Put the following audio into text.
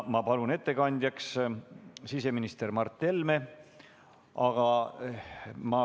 Ma palun ettekandjaks siseminister Mart Helme.